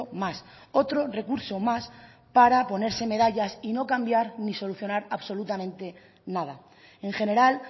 más otro recurso más para ponerse medallas y no cambiar ni solucionar absolutamente nada en general